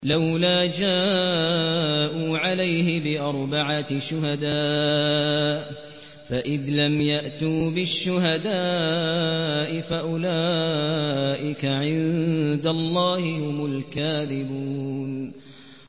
لَّوْلَا جَاءُوا عَلَيْهِ بِأَرْبَعَةِ شُهَدَاءَ ۚ فَإِذْ لَمْ يَأْتُوا بِالشُّهَدَاءِ فَأُولَٰئِكَ عِندَ اللَّهِ هُمُ الْكَاذِبُونَ